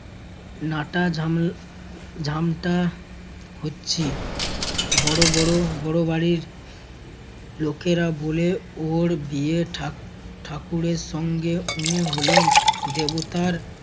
নাটা জামল~ জামটা হচ্ছি বড়~ বড় বড় বাড়ির লোকেরা বলে ওর বিয়েঠাক ঠাকুরের সঙ্গে উনি হলেন দেবতার